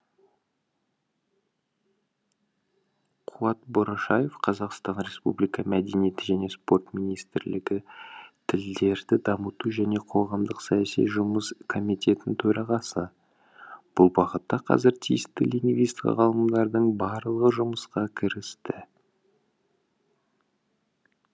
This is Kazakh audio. қуат борашаев қазақстан республика мәдениет және спорт министрлігі тілдерді дамыту және қоғамдық саяси жұмыс комитетінің төрағасы бұл бағытта қазір тиісті лингвист ғалымдардың барлығы жұмысқа кірісті